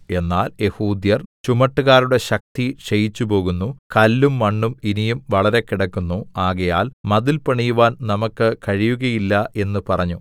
എന്നാൽ യെഹൂദ്യർ ചുമട്ടുകാരുടെ ശക്തി ക്ഷയിച്ചുപോകുന്നു കല്ലും മണ്ണും ഇനിയും വളരെ കിടക്കുന്നു ആകയാൽ മതിൽ പണിയുവാൻ നമുക്ക് കഴിയുകയില്ല എന്ന് പറഞ്ഞു